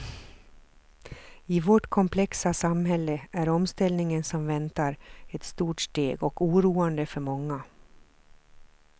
I vårt komplexa samhälle är omställningen som väntar ett stort steg och oroande för många.